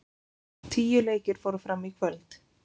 Tíu leikir fóru fram í kvöld